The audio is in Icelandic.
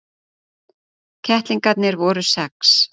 Kettlingarnir voru sex.